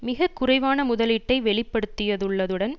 மிக குறைவான முதலீட்டை வெளிப்படுத்தியதுள்ளதுடன்